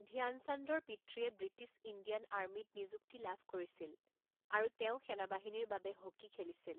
ধ্যানচান্দৰ পিতৃয়ে British Indian আৰ্মীত নিযুক্তি লাভ কৰিছিল, আৰু তেওঁ সেনাবাহিনীৰ বাবে হকী খেলিছিল।